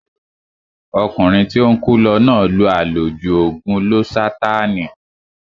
Ọkùnrin tí ó ń kú lọ náà lo àlòjù ògùn lósátáànì